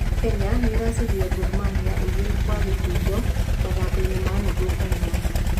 Kenya nĩ ĩracindire Gor Mahia igĩrĩ gwa gĩbũgũ mathakoinĩ ma nuthu baino.